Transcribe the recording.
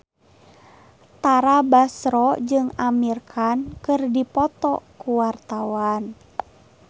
Tara Basro jeung Amir Khan keur dipoto ku wartawan